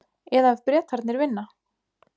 Eða ef Bretarnir vinna?